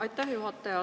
Aitäh, juhataja!